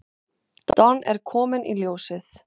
Don er kominn í ljósið.